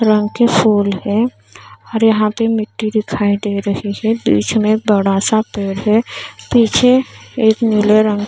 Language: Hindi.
रंग के फूल है और यहाँ पे मिट्टी दिखाई दे रही है बीच में बड़ा सा पेड़ है पीछे एक नीले रंग--